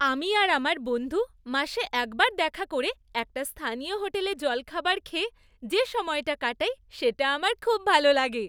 আমি আর আমার বন্ধু মাসে একবার দেখা করে একটা স্থানীয় হোটেলে জলখাবার খেয়ে যে সময়টা কাটাই সেটা আমার খুব ভালো লাগে।